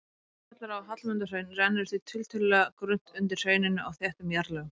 Úrkoma sem fellur á Hallmundarhraun rennur því tiltölulega grunnt undir hrauninu á þéttum jarðlögum.